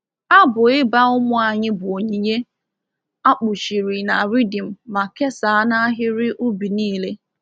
Abụ ịba ụmụ anyị bụ onyinye—a kpuchiri na rhythm ma kesaa n’ahịrị ubi niile.